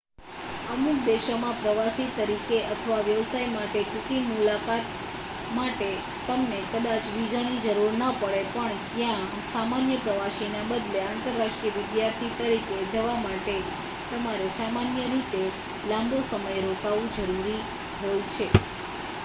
અમુક દેશોમાં પ્રવાસી તરીકે અથવા વ્યવસાય માટે ટૂંકી મુલાકાત માટે તમને કદાચ વિઝાની જરૂર ન પડે પણ ત્યાં સામાન્ય પ્રવાસીના બદલે આંતરરાષ્ટ્રીય વિદ્યાર્થી તરીકે જવા માટે તમારે સામાન્ય રીતે લાંબો સમય રોકાવું જરૂરી હોય છે